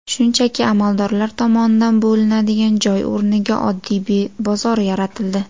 Shunchaki amaldorlar tomonidan bo‘linadigan joy o‘rniga oddiy bozor yaratildi.